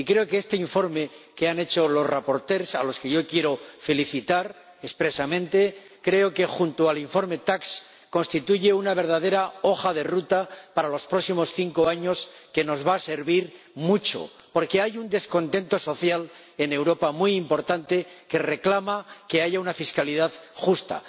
Y creo que este informe que han hecho los ponentes ―a los que yo quiero felicitar expresamente― constituye, junto al informe Tax, una verdadera hoja de ruta para los próximos cinco años que nos va a servir mucho, porque hay un descontento social muy importante en Europa que reclama una fiscalidad justa.